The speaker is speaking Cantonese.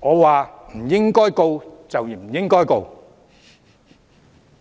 他說不應控告便不應控告。